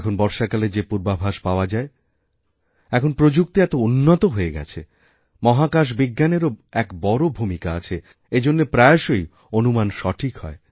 এখন বর্ষাকালের যে পূর্বাভাসপাওয়া যায় এখন প্রযুক্তি এত উন্নত হয়ে গেছে মহাকাশবিজ্ঞানএরও এক বড় ভূমিকা আছেএজন্য প্রায়শই অনুমান সঠিক হয়